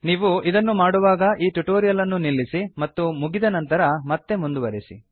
ನೀವು ಇದನ್ನು ಮಾಡುವಾಗ ಈ ಟ್ಯುಟೋರಿಯಲ್ ಅನ್ನು ನಿಲ್ಲಿಸಿ ಮತ್ತು ಮುಗಿದ ನಂತರ ಮತ್ತೆ ಮುಂದುವರೆಸಿ